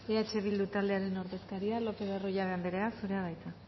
eh bildu taldearen ordezkaria lopez de arroyabe anderea zurea da hitza